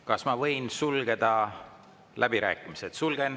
Kas ma võin sulgeda läbirääkimised?